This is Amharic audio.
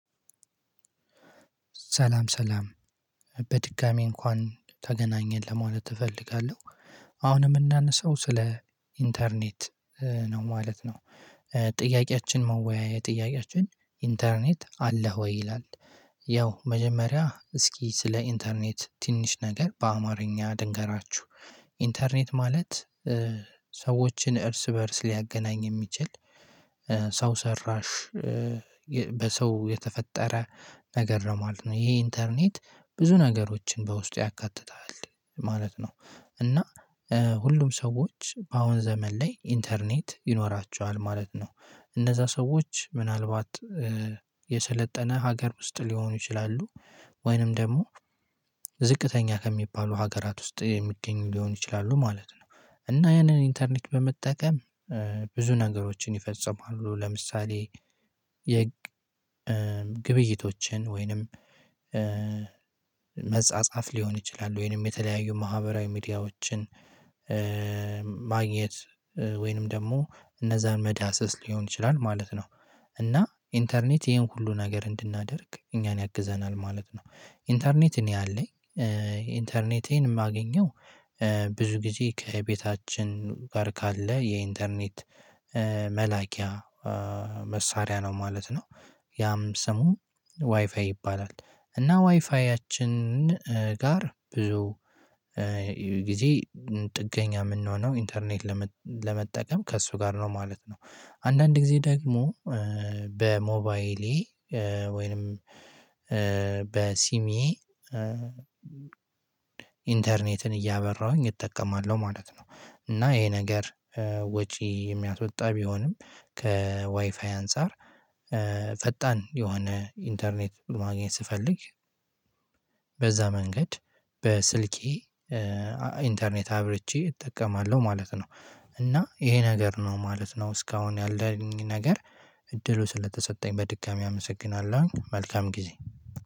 ሰላም ሰላም በድጋሚ እንኳን ተገናኘን ለማለት እፈልጋለሁ። አሁን የምናነሳው ስለ ኢንተርኔት ነው ማለት ነው። ጥያቄያችን መወያያ ጥያቄያችን ኢንተርኔት አለህ ወይ? ይላል። ያው መጀመሪያ እስኪ ስለ ኢንተርኔት ትንሽ ነገር በአማርኛ ልንገራችሁ። ኢንተርኔት ማለት ሰዎችን እርስ በእርስ ሊያገናኝ የሚችል ሰው ሰራሽ- በሰው የተፈጠረ ነገር ነው ማለት ነው። ይሄ ኢንተርኔት ብዙ ነገሮችን በውስጡ ያካትታል ማለት ነው። እና ሁሉም ሰዎች በአሁን ዘመን ላይ ኢንተርኔት ይኖራቸዋል ማለት ነው። እነዛ ሰዎች ምናልባት የሰለጠነ ሀገር ውስጥ ሊሆኑ ይችላሉ። ወይንም ደግሞ ዝቅተኛ ከሚባሉ ሀገራት ውስጥ የሚገኙ ሊሆኑ ይችላሉ ማለት ነው። እና ያንን ኢንተርኔት በመጠቀም ብዙ ነገሮችን ይፈጽማሉ። ለምሳሌ:- የግብይቶችን ወይንም- መጻጻፍ ሊሆን ይችላል። ወይንም የተለያዩ ማህበራዊ ሚዲያዎችን ማግኘት። ወይንም ደግሞ እነዛን መዳሰስ ሊሆን ይችላል ማለት ነው። እና ኢንተርኔት ይሄን ሁሉ ነገር እንድናደርግ እኛን ያግዘናል ማለት ነው። ኢንተርኔት እኔ አለኝ ኢንተርኔቴን የማገኘው ብዙ ጊዜ ከቤታችን ጋር ካለ የኢንተርኔት መላኪያ መሳሪያ ነው ማለት ነው። ያም ስሙ ዋይፋይ ይባላል ::እና ዋይፋያችን ጋር ብዙ- ጊዜ ጥገኛ የምንሆነው ኢንተርኔት ለመጠቀም ከእሱ ጋር ነው ማለት ነው ::አንዳንድ ጊዜ ደግሞ በሞባይሌ ወይንም በሲሚ- ኢንተርኔትን እያበራሁኝ እጠቀማለሁ ማለት ነው -እና ይሄ ነገር ወጪ የሚያስወጣ ቢሆንም ከዋይፋይ አንፃር ፈጣን የሆነ ኢንተርኔት ማግኘት ስፈልግ በዛ መንገድ በስልኬ ኢንተርኔት አብረቼ እጠቀማለሁ ማለት ነው። እና ይሄ ነገር ነው ማለት ነው እስካሁን ያለኝ ነገር እድሉ ስለተሰጠኝ በድጋሚ አመሰግናለሁ። መልካም ጊዜ።